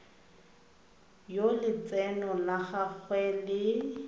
yo letseno la gagwe le